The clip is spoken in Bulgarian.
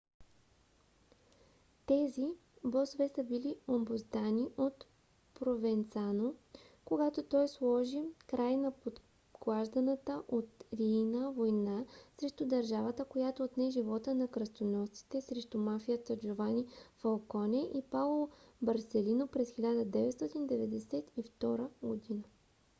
тези босове са били обуздани от провенцано когато той сложи край на подклажданата от рийна война срещу държавата която отне живота на кръстоносците срещу мафията джовани фалконе и паоло борселино през 1992 година.